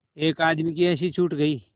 एक आदमी की हँसी छूट गई